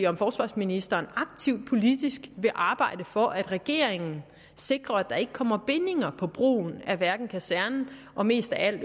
om forsvarsministeren aktivt politisk vil arbejde for at regeringen sikrer at der ikke kommer bindinger på brugen af kasernen og mest af alt